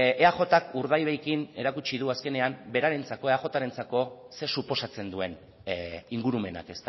eajk urdaibairekin erakutsi du berarentzako eajrentzako ze suposatzen duen ingurumenak